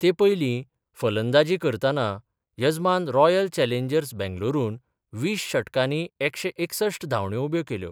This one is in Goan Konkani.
ते पयली फलंदाजद करताना यजमान रॉयल चॅलेंजर्स बेंगलोरुन वीस षटकानी एकशे एकसश्ट धांवड्यो उब्यो केल्यो.